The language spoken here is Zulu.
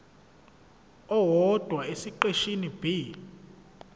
owodwa esiqeshini b